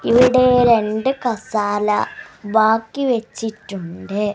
ഇവിടെ രണ്ട് കസാല ബാക്കി വെച്ചിട്ടുണ്ട്.